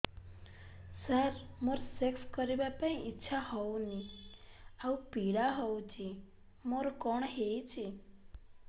ସାର ମୋର ସେକ୍ସ କରିବା ପାଇଁ ଇଚ୍ଛା ହଉନି ଆଉ ପୀଡା ହଉଚି ମୋର କଣ ହେଇଛି